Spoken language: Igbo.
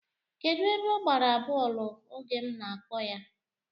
Kedu ebe ọ gbara bọọlụ oge m na-akpọ ya?